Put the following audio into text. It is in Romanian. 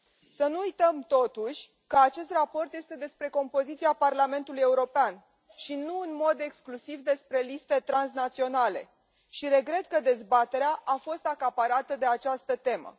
Să nu uităm totuși că acest raport este despre compoziția Parlamentului European și nu în mod exclusiv despre liste transnaționale și îmi exprim regretul că dezbaterea a fost acaparată de această temă.